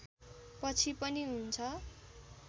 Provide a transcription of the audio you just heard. पछि पनि हुन्छ